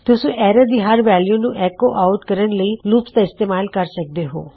ਤੁਸੀਂ ਐਰੇ ਦੀ ਹਰ ਵੈਲਯੂ ਨੂੰ ਐੱਕੋ ਆਉਟ ਕਰਨ ਲਈ ਲੂਪਸ ਦਾ ਇਸਤੇਮਾਲ ਕਰ ਸਕਦੇ ਹੋਂ